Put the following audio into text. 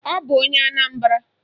Ọ bụ onye Anambara.